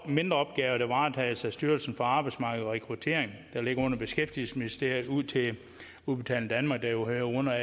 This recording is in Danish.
mindre opgaver der varetages af styrelsen for arbejdsmarked og rekruttering der ligger under beskæftigelsesministeriet til udbetaling danmark der jo hører under